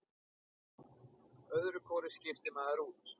Öðru hvoru skiptir maður út.